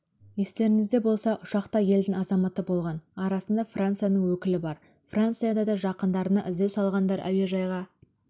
естеріңізде болса ұшақта елдің азаматы болған арасында францияның өкілі бар францияда да жақындарына іздеу салғандар әуежайға